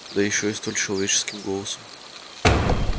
да ещё и столь человеческим голосом